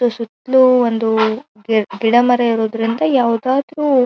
ಸು ಸುತ್ತಲು ಒಂದು ಗಿಡಮರ ಇರೋದ್ರಿಂದ ಯಾವದಾದ್ರು --